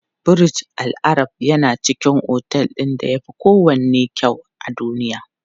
Burj Al Arab yana cikin otel ɗin da yafi kowanne kyau a duniya.